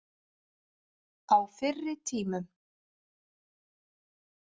Á fyrri tímum.